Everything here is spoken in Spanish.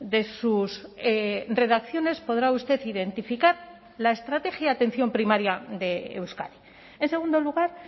de sus redacciones podrá usted identificar la estrategia de atención primaria de euskadi en segundo lugar